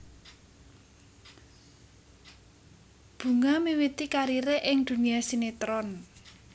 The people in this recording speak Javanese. Bunga miwiti karire ing dunia sinetron